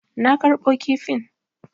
Na karɓo kifin.